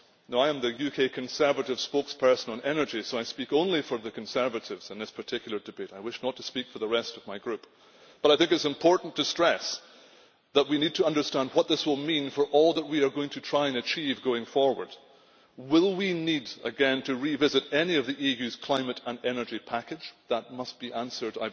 I am the UK Conservative spokesperson on energy, so I speak only for the Conservatives in this particular debate I wish not to speak for the rest of my Group. I think it is important to stress that we need to understand what this will mean for all that we are going to try and achieve, going forward. Will we need again to revisit any of the EU's climate and energy package? That must be answered.